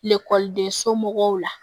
den somɔgɔw la